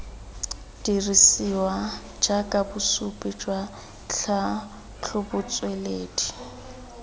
dirisiwa jaaka bosupi jwa tlhatlhobotsweledi